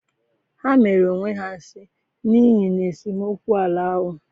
Ha mere onwe ha nsi n'ihi na esemokwu ala ahụ.